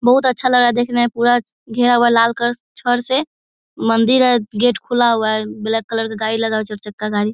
बहुत अच्छा लगा रहा है देखने में। पूरा घेरा हुआ है लाल कलर छड़ से। मंदिर है गेट खुला हुआ है। ब्लैक कलर का गाड़ी लगा हुआ है चार चक्का गाड़ी।